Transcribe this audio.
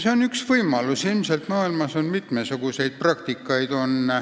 See on üks võimalus ja ilmselt on maailmas mitmesuguseid praktikaid.